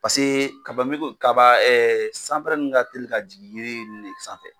Paseke kaba meqe kaba ɛɛ san pɛrɛn nunnu ka teli ka jigin yiri nunnu ne sanfɛ